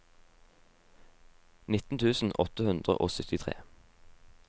nitten tusen åtte hundre og syttitre